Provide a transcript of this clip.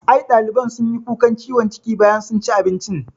I ɗaliban sunyi kukan ciwon ciki bayan sun ci abincin